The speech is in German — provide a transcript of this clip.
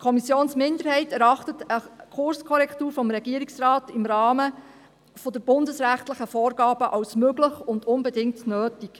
Die Kommissionsminderheit erachtet eine Kurskorrektur des Regierungsrates im Rahmen der bundesrechtlichen Vorgaben als möglich und unbedingt nötig.